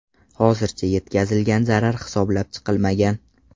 Hozircha yetkazilgan zarar hisoblab chiqilmagan.